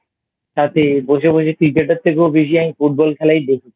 সাথে বসে বসে Cricket এর থেকেও বেশি আমি Football খেলাই দেখেছি